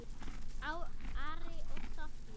Ari og Soffía.